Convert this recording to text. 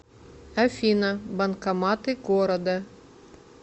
афина банкоматы города